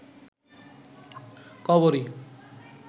কবরী